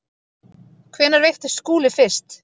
Hvenær veiktist Skúli fyrst?